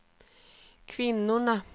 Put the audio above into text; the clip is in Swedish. kvinnorna